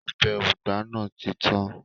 Ọbẹ̀ ugba nàá ti tán